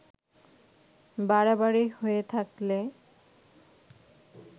বাড়াবাড়ি হয়ে থাকলে